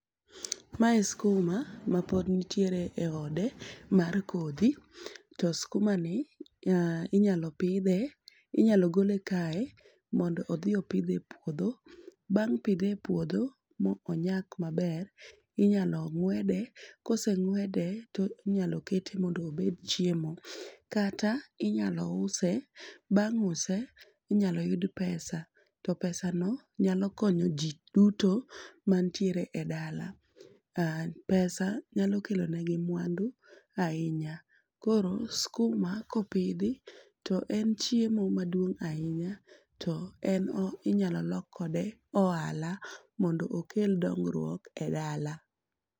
Mae skuma mapod ntiere e ode mar kodhi, to skuma ni inyalo pidhe inyalo gole kae mondo odhi opidhe e puodho. Bang' pidhe e puodho ma onyak maber, inyalo ng'wede koseng'wede to inyalo kete mondo obed chiemo. Kata inyalo use bang' use inyalo yud pesa, to pesa no nyalo konyo ji duto mantiere e dala. Pesa nyalo kelo negi mwandu ahinya, koro skuma kopidhi to en chiemo maduong' ahinya to en inyalo lok kode ohala mondo okel dongruok e dala.